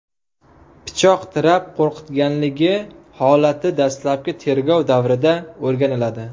pichoq tirab qo‘rqitganligi holati dastlabki tergov davrida o‘rganiladi.